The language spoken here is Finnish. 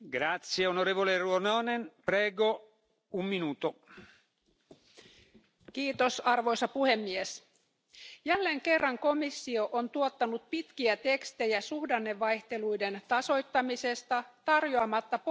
Arvoisa puhemies, jälleen kerran komissio on tuottanut pitkiä tekstejä suhdannevaihteluiden tasoittamisesta tarjoamatta poliittisesti realistista ja taloudellisesti toimivaa mallia Euroopan talous ja rahaliitolle.